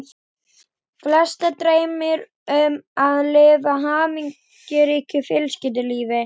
Flesta dreymir um að lifa hamingjuríku fjölskyldulífi.